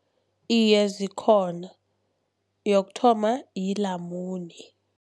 Iye, zikhona. Yokuthoma, lilamune.